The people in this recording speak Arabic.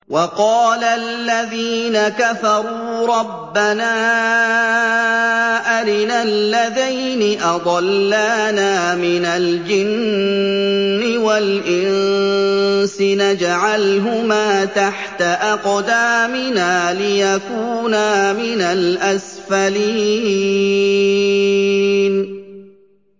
وَقَالَ الَّذِينَ كَفَرُوا رَبَّنَا أَرِنَا اللَّذَيْنِ أَضَلَّانَا مِنَ الْجِنِّ وَالْإِنسِ نَجْعَلْهُمَا تَحْتَ أَقْدَامِنَا لِيَكُونَا مِنَ الْأَسْفَلِينَ